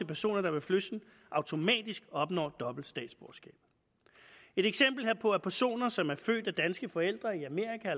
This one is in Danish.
personer der ved fødslen automatisk opnår dobbelt statsborgerskab et eksempel herpå er personer som er født af danske forældre i amerika